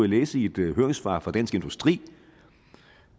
læse i et høringssvar fra dansk industri